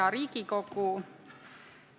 Hea Riigikogu!